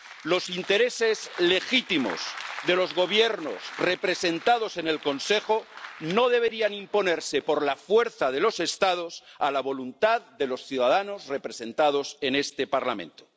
Los intereses legítimos de los gobiernos representados en el Consejo no deberían imponerse por la fuerza de los Estados a la voluntad de los ciudadanos representados en este Parlamento.